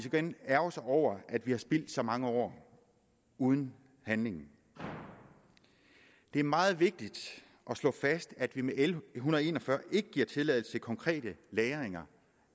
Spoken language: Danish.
igen ærgre sig over at vi har spildt så mange år uden handling det er meget vigtigt at slå fast at vi med l en hundrede og en og fyrre ikke giver tilladelse til konkrete lagringer